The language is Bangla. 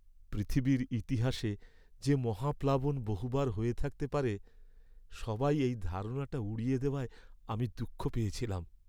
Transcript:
পৃথিবীর ইতিহাসে যে মহাপ্লাবন বহুবার হয়ে থাকতে পারে, সবাই এই ধারণাটা উড়িয়ে দেওয়ায় আমি দুঃখ পেয়েছিলাম।